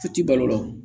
Su tɛ balo la o